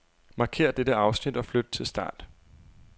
Markér dette afsnit og flyt til start.